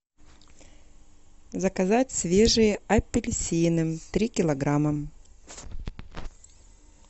заказать свежие апельсины три килограмма